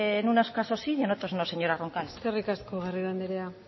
en unos caso sí y en otros no señora roncal eskerrik asko garrido anderea